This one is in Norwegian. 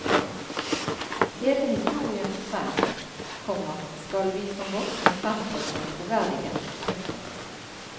Hele historien må frem, komma skal vi som voksne fremstå som troverdige. punktum